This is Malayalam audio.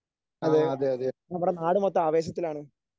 അതെ നമ്മുടെ നാട് മൊത്തം ആവേശത്തിലാണ്.